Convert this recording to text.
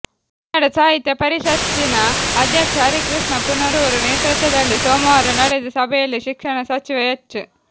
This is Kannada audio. ಕನ್ನಡ ಸಾಹಿತ್ಯ ಪರಿಷತ್ತಿನ ಅಧ್ಯಕ್ಷ ಹರಿಕೃಷ್ಣ ಪುನರೂರು ನೇತೃತ್ವದಲ್ಲಿ ಸೋಮವಾರ ನಡೆದ ಸಭೆಯಲ್ಲಿ ಶಿಕ್ಷಣ ಸಚಿವ ಎಚ್